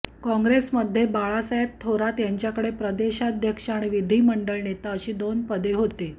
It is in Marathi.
काँग्रेसमध्ये बाळासाहेब थोरात यांच्याकडे प्रदेशाध्यक्ष आणि विधीमंडळ नेता अशी दोन पद होतं